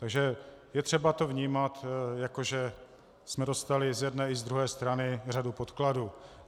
Takže je třeba to vnímat, jako že jsme dostali z jedné i z druhé strany řadu podkladů.